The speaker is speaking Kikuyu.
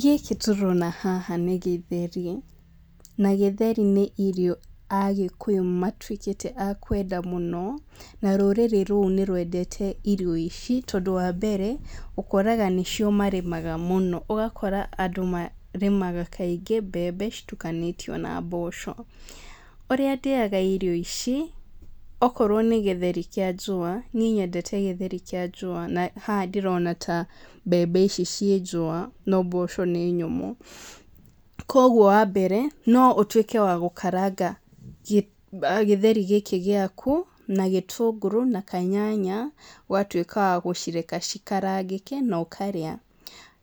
Gĩkĩ tũrona haha nĩ gĩtheri, na gĩtheri nĩ irio agĩkũyũ matuĩkĩte a kwenda mũno, na rũrĩrĩ rũu nĩrwendete irio ici tondũ wa mbere, ũkoraga nĩcio marĩmaga mũno ũgakora andũ marĩmaga kaingĩ mbembe citukanĩtio na mboco. Ũrĩa ndĩaga irio ici, okorwo nĩ gĩtheri kĩa njũa, niĩ nyendete gĩtheri kĩa njũa na haha ndĩrona ta mbembe ici ciĩ njũa, no mboco nĩ nyũmũ, koguo wa mbere, no ũtuĩke wa gũkaranga gĩ gĩtheri gĩkĩ gĩaku, na gĩtũngũrũ, na kanyanya, ũgatuĩka wa gũcireka cikarangĩke, na ũkarĩa.